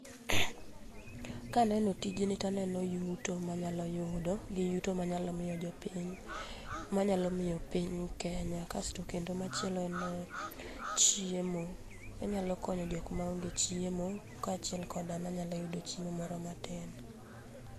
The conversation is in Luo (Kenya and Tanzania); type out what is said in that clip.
Kaneno tijni taneno yuto manyalo yudo gi yuto manyalo mio jopiny, manyalo mio piny Kenya. Kasto kendo machielo en chiemo. Anyalo konyo jok maonge chiemo, kaachiel kod an anyalo yudo chiemo moro matin.